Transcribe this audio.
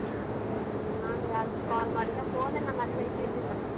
ಹ್ಮ್ ನಾನ್ ಯಾರಿಗೂ call ಮಾಡಿಲ್ಲ phone ನನ್ ಹತ್ರ ಇದ್ದಿದ್ದಿಲ್ಲ.